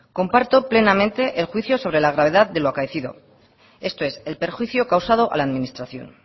comparto plenamente el juicio sobre la gravedad de lo acaecido esto es el perjuicio causado a la administración